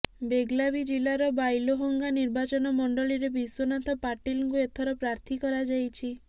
ବେଲ୍ଗାଭୀ ଜିଲ୍ଲାର ବାଇଲୋହଙ୍ଗା ନିର୍ବାଚନମଣ୍ଡଳୀରେ ବିଶ୍ୱନାଥ ପାଟିଲଙ୍କୁ ଏଥର ପ୍ରାର୍ଥୀ କରାଯାଇଛି